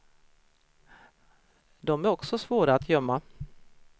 De är också svåra att gömma.